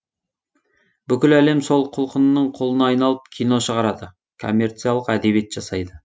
бүкіл әлем сол құлқынның құлына айналып кино шығарады коммерциялық әдебиет жасайды